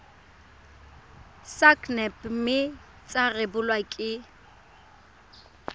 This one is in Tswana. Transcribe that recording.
sacnap mme tsa rebolwa ke